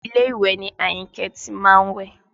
Ilé ìwẹ̀ ni Àyìnkẹ́ ti má ń wẹ̀